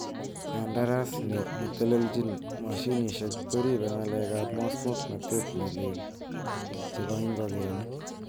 Kandarasi netelelchin mashinisiek koribe ngalek ab muswoknotet ne lee chebo ingogenik.